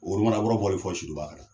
O kumana wari bɔl'i pɔsi de la wa?